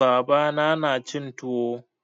Baba na na cin tuwo.